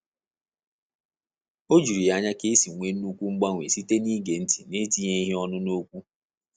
Ọ jụrụ ya anya ka e si nwee nnukwu mgbanwe site na-ige ntị na-etinyeghị ọnụ n'okwu